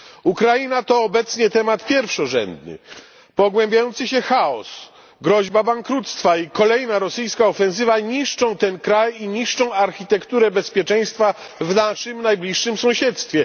Ukraina to obecnie temat pierwszorzędny pogłębiający się chaos, groźba bankructwa i kolejna rosyjska ofensywa niszczą ten kraj i niszczą architekturę bezpieczeństwa w naszym najbliższym sąsiedztwie.